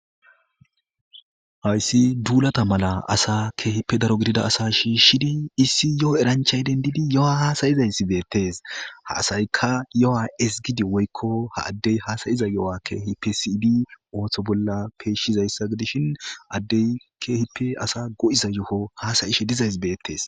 Hayssi duulata maala assa kehippe daaro giddida assa shishidi issi yoo eranchchay denddidi yoooha hasaizaysi bettes ha assaykka yooha ezzgiidi woykko ha addey hasaiza yoho kehippe siiyidi oththo bolla peyshizayssa giddishin addey kehippe assa goiiza yooho hassaishe diizaysi bettes.